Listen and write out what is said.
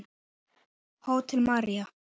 Hótel Marína.